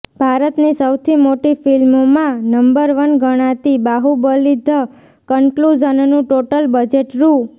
ભારતની સૌથી મોટી ફિલ્મોમાં નંબર વન ગણાતી બાહુબલી ધ કન્કલુઝનનું ટોટલ બજેટ રૂ